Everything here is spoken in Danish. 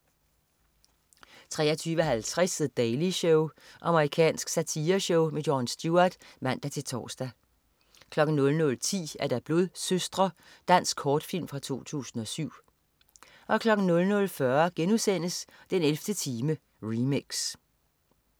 23.50 The Daily Show. Amerikansk satireshow. Jon Stewart (man-tors) 00.10 Blodsøstre. Dansk kortfilm fra 2007 00.40 den 11. time, remix*